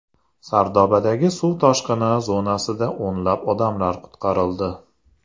Sardobadagi suv toshqini zonasida o‘nlab odamlar qutqarildi.